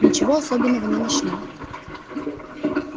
ничего особенного не нашли